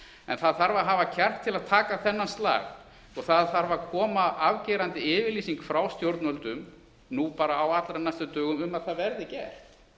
en það þarf að hafa kjark til að taka þennan slag og það þarf að koma afgerandi yfirlýsing frá stjórnvöldum nú bara á allra næstu dögum um að það verði